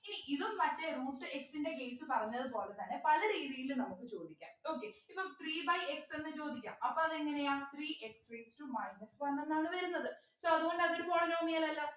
ഇനി ഇതും മറ്റേ root x ൻ്റെ case പറഞ്ഞതുപോലെതന്നെ പല രീതിയിലും നമുക്ക് ചോദിക്കാം okay ഇപ്പോ three by x എന്ന് ചോദിക്കാം അപ്പൊ അതെങ്ങനെയാ three x raised to minus one എന്നാണ് വരുന്നത് so അതുകൊണ്ട് അതൊരു polynomial അല്ല